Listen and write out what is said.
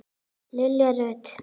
Lilja Rut.